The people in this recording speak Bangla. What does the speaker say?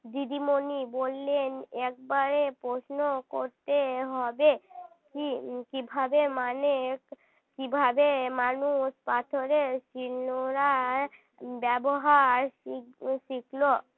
দিদিমণি বললেন একবারে প্রশ্ন করতে হবে কী কী ভাবে মানে কিভাবে মানুষ পাথরে শিলনোড়ার ব্যবহার শিখলো